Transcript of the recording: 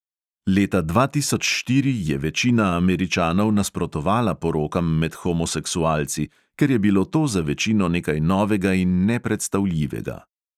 Leta dva tisoč štiri je večina američanov nasprotovala porokam med homoseksualci, ker je bilo to za večino nekaj novega in nepredstavljivega.